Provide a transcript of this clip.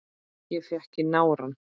Ég fékk í nárann.